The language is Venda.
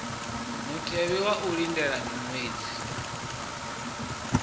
mutevhe wa u lindela miṅwedzi